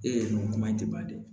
Ee nko kuma in tɛ ban dɛ